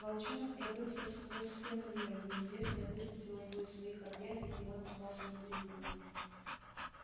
волчонок пробился сквозь стену мира неизвестное выпустило его из своих объятий и он остался невредимым